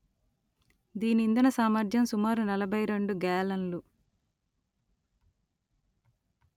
దీని ఇంధన సామర్థ్యం సుమారు నలభై రెండు గ్యాలన్లు